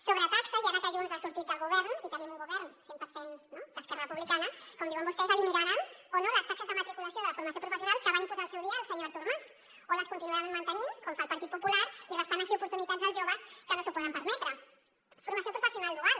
sobre taxes i ara que junts ha sortit del govern i tenim un govern cent per cent d’esquerra republicana com diuen vostès eliminaran o no les taxes de matriculació de la formació professional que va imposar al seu dia el senyor artur mas o les continuaran mantenint com fa el partit popular restant així oportunitats als joves que no s’ho poden permetre formació professional dual